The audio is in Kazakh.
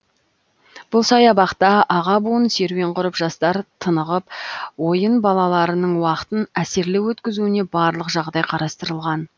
бұл саябақта аға буын серуен құрып жастар тынығып ойын балаларының уақытын әсерлі өткізуіне барлық жағдай қарастырылған